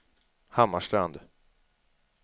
Hammarstrand